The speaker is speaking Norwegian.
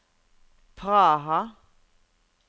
Praha